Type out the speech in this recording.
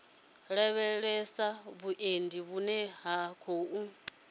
lavhelesa vhuendi vhune ha khou